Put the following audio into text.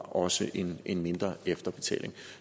også indebar en mindre efterbetaling